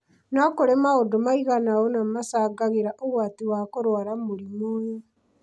no kũrĩ maundũ maigana ũna macangagĩra ũgwati wa kũrwara mũrimũ ũyũ